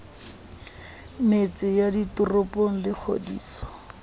metse ya ditoropo le kgodiso